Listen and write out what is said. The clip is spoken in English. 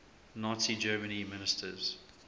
nazi germany ministers